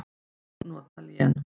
Má nota lén